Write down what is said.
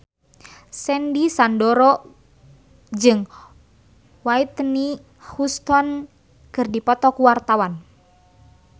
Sandy Sandoro jeung Whitney Houston keur dipoto ku wartawan